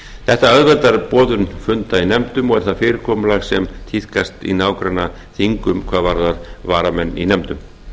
þetta auðveldar boðun funda í nefndum og er það fyrirkomulag sem tíðkast í nágrannaþingum hvað varðar varamenn í nefndum